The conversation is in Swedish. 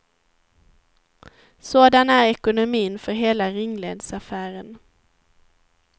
Sådan är ekonomin för hela ringledsaffären.